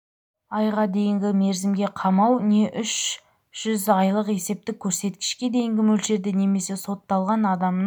айға дейінгі мерзімге қамау не үш жүз айлық есептік көрсеткішке дейінгі мөлшерде немесе сотталған адамның